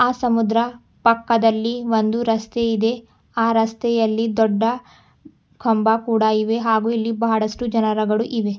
ಆ ಸಮುದ್ರ ಪಕ್ಕದಲ್ಲಿ ಒಂದು ರಸ್ತೆ ಇದೆ ಆ ರಸ್ತೆಯಲ್ಲಿ ದೊಡ್ಡ ಕಂಬ ಕೂಡ ಇವೆ ಹಾಗು ಇಲ್ಲಿ ಬಹಳಷ್ಟು ಜನರುಗಳು ಇವೆ.